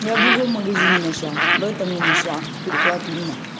я в другом магазине нашла в этом не нашла переклад мимо